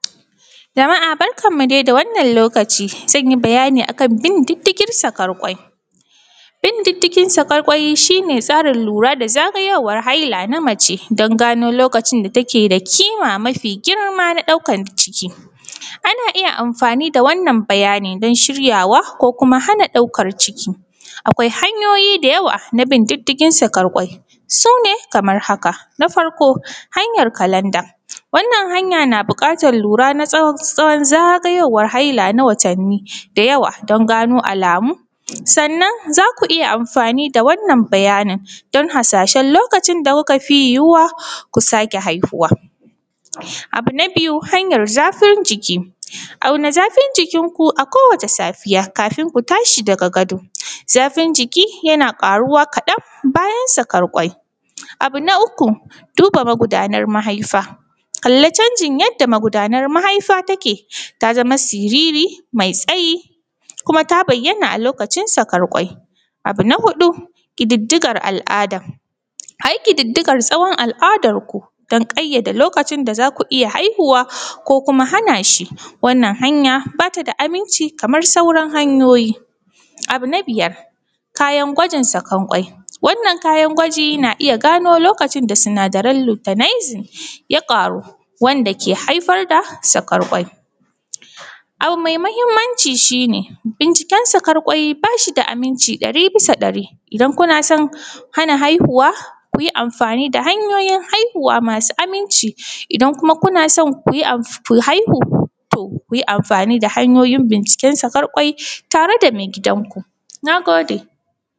Jama’a barkanmu dai da wannan lokaci zan yi bayani akan bin diddigin sakar kwai. Bin diddigin sakar kwai shi ne tsarin lura da zagayowar haila na mace dan gano lokacin da ake da ƙima, mafi girma na ɗaukan ciki, ana iya amfani da wannan bayani dan shiryawa ko kuma hana ɗaukan ciki akwai hanyoyi da yawa na bin diddigin sakar kwai, su ne kamar haka: na farko hanyar kalanda, wannan hanya na buƙatar lura na tsawon zagayowar haila na watanni da yawa dan gano alamu, sannan za ku iya amfani da wannan bayanin dan harsashen lokacin da kuka fi yuwuwan ku sake haihuwa, abu na biyu hanyar zafin jiki, auna zafin jikinku akowace safiya kafun ku tashi daga gado, zafin jiki yana ƙaruwa kaɗan bayan sakar kwai, abu na uku duba magudanar mahaifa, kalla canjin yadda magudanar mahaifa take ta zama siriri mai tsayi kuma ta bayyana a lokacin sakar kwai, abu na huɗu ƙididdigar al’ada, a yi ƙididdigar tsawon al’adarku dan ƙayyade lokacin da za ku iya haihuwa ko kuma hana shi wannan hanya ba ta da aminci kamar sauran hanyoyi. Abu na biyar kayan gwajin sakan kwai, wannnan kayan gwajin na iya gano lokacin da sinadaran lutanizim ya ƙaru wanda ke haifar da sakar kwai, abu mai mahimmanci shi ne binciken sakar kwai da ba shi da aminci ɗari bisa ɗari. Idan kuna san hana haihuwa ku yi amfani da hanyoyin haihuwa masu aminci, idan kuma kuna san ku haihu to kun yi amfani da hanyoyin binciken sakar kwai tare da maigidanku. Na gode.